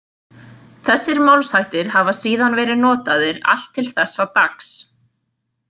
Þessir málshættir hafa síðan verið notaðir allt til þessa dags.